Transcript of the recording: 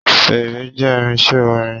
Fèèrè jé irinsé orin